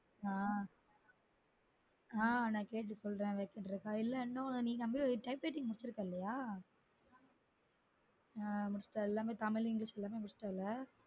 ஆஹ் நான் கேட்டு சொல்றன் vacant இல்ல இனொன்னு நீ வந்து type writing முடிச்சுருக்க இல்லயா எல்லாமே தமிழ் english எல்லாமே முடிச்சு ட்ட இல்லயா?